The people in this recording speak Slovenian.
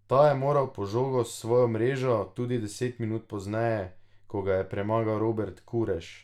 Ta je moral po žogo v svojo mrežo tudi deset minut pozneje, ko ga je premagal Robert Kurež.